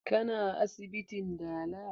Ka na asibitin dala?